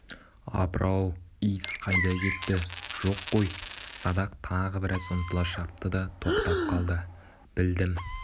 апыр-ау иіс қайда кетті жоқ қой садақ тағы біраз ұмтыла шапты да тоқтап қалды білдім